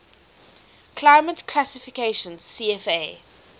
climate classification cfa